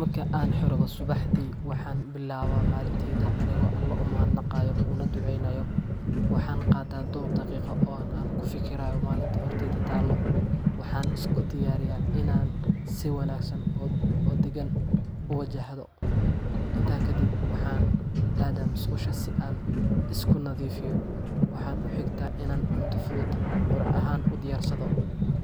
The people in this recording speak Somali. Marka aan xorowdo subaxdii, waxaan billaabaa maalintayda anigoo Alle u mahadnaqaya una ducaynaya. Waxaan qaataa dhowr daqiiqo oo aan ku fikirayo maalinta horteyda taalla, waxaana isku diyaariyaa inaan si wanaagsan oo deggan u wajahdo. Intaa kadib, waxaan aadaa musqusha si aan isugu nadiifiyo, waxaana ku xigta in aan cunto fudud quraac ahaan u diyaarsado.